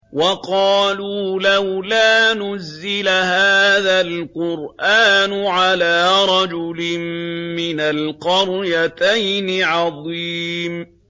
وَقَالُوا لَوْلَا نُزِّلَ هَٰذَا الْقُرْآنُ عَلَىٰ رَجُلٍ مِّنَ الْقَرْيَتَيْنِ عَظِيمٍ